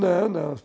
Não, não.